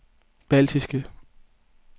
baltiske